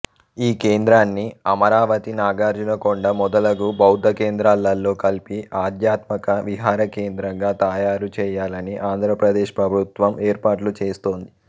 ఈ కేంద్రాన్ని అమరావతి నాగార్జునకొండ మొదలగు బౌద్ధకేంద్రాలతో కలిపి ఆధ్యాత్మక విహారకేంద్రంగా తయారుచేయాలని ఆంధ్రప్రదేశ్ ప్రభుత్వం ఏర్పాట్లు చేస్తోంది